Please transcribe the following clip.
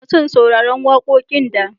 Ina son sauraran wakoƙin da.